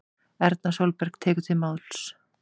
Erna Sólberg tekur til máls